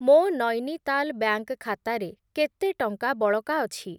ମୋ ନୈନିତାଲ୍ ବ୍ୟାଙ୍କ୍‌ ଖାତାରେ କେତେ ଟଙ୍କା ବଳକା ଅଛି?